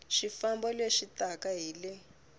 swifambo leswi taka hi le